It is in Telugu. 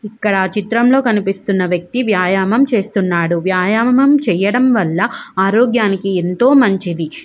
ఇక్కడ చిత్రంలో కనిపిస్తున్న వ్యక్తి వ్యాయామం చేస్తున్నాడు వ్యాయామం చేయడం వల్ల ఆరోగ్యానికి ఎంతో మంచిది.